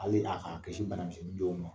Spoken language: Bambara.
Ala bina yka'a kisi bana misɛnnin dɔ ma.